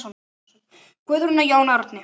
Guðrún og Jón Árni.